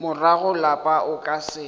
morago lapa o ka se